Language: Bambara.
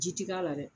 Ji ti k'a la dɛ